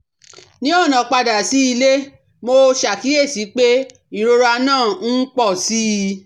Ní ọ̀nà padà sí ilé, mo ṣàkíyèsí pé ìrora náà ń pọ̀ sí i